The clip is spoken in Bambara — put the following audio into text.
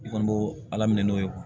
I kɔni bo ala minɛ n'o ye